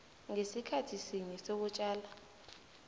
ngesikhathi sinye sokutjala